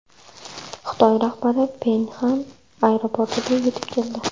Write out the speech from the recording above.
Xitoy rahbari Pxenyan aeroportiga yetib keldi.